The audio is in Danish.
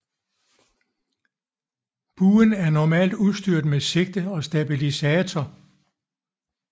Buen er normalt udstyret med sigte og stabilisator